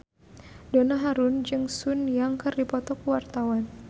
Donna Harun jeung Sun Yang keur dipoto ku wartawan